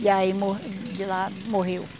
E aí morreu, de lá morreu.